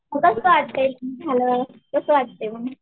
उगाच Unclear झालं कसं वाटतंय मग?